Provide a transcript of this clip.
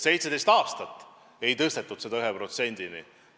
17 aasta jooksul ei suudetud seda viia 1%-ni.